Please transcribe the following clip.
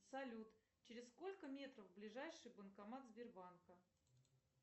салют через сколько метров ближайший банкомат сбербанка